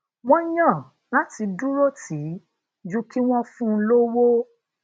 wón yàn láti duro ti i ju kí wón fun lowó